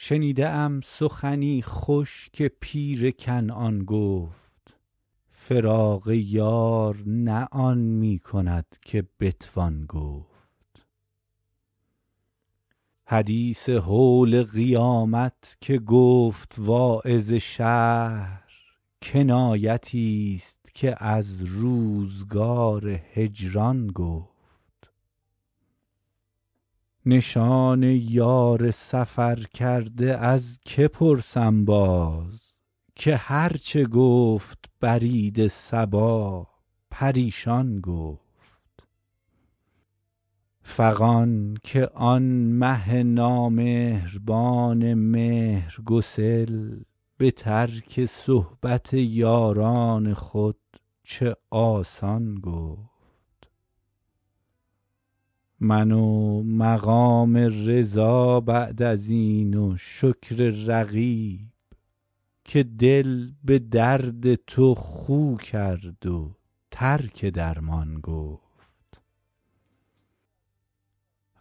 شنیده ام سخنی خوش که پیر کنعان گفت فراق یار نه آن می کند که بتوان گفت حدیث هول قیامت که گفت واعظ شهر کنایتی ست که از روزگار هجران گفت نشان یار سفرکرده از که پرسم باز که هر چه گفت برید صبا پریشان گفت فغان که آن مه نامهربان مهرگسل به ترک صحبت یاران خود چه آسان گفت من و مقام رضا بعد از این و شکر رقیب که دل به درد تو خو کرد و ترک درمان گفت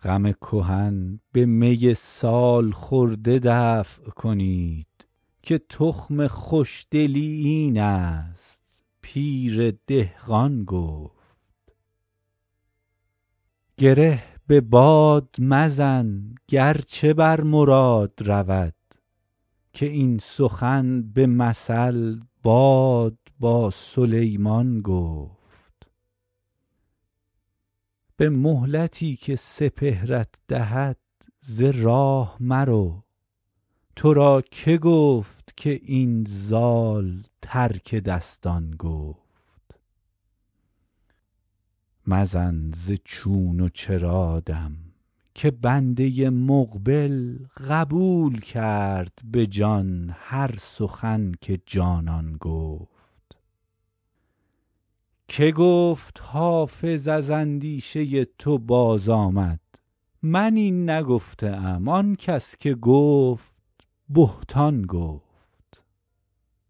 غم کهن به می سال خورده دفع کنید که تخم خوش دلی این است پیر دهقان گفت گره به باد مزن گر چه بر مراد رود که این سخن به مثل باد با سلیمان گفت به مهلتی که سپهرت دهد ز راه مرو تو را که گفت که این زال ترک دستان گفت مزن ز چون و چرا دم که بنده مقبل قبول کرد به جان هر سخن که جانان گفت که گفت حافظ از اندیشه تو آمد باز من این نگفته ام آن کس که گفت بهتان گفت